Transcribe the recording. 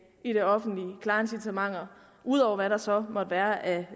i det offentlige klare incitamenter ud over hvad der så måtte være af